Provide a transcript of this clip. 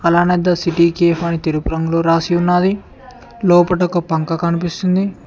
అలానే the city cafe అని తెలుపు రంగులో రాసి ఉన్నది లోపట ఒక పంక కనిపిస్తుంది.